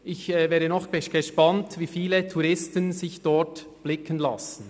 Ich wäre noch darauf gespannt, wie viele Touristen sich dort blicken lassen.